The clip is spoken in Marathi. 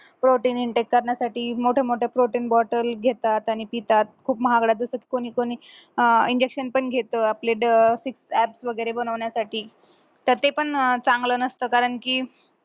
protin करण्यासाठी मोठे मोठे protein bottle घेतात आणि पितात खूप महागड्या कोणी कोणी अह injection पण घेत आपले apps वैगरे बनवण्यासाठी तर ते पण चांगलं नसत कारण की